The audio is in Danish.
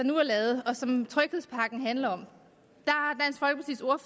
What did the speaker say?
nu er lavet og som tryghedspakken handler om